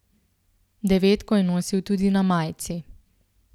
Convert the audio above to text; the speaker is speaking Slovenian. Devetko je nosil tudi na majici.